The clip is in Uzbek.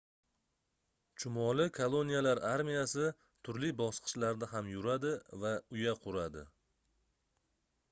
chumoli koloniyalar armiyasi turli bosqichlarda ham yuradi va uya quradi